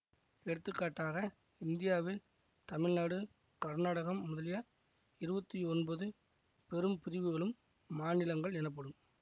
எடுத்துக்காட்டாக இந்தியாவில் தமிழ்நாடு கர்நாடகம் முதலிய இருபத்தி ஒன்பது பெரும் பிரிவுகளும் மாநிலங்கள் எனப்படும்